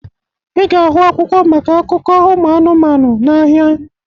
Ị ga-ahụ akwụkwọ maka akụkọ ụmụ anụmanụ n'ahịa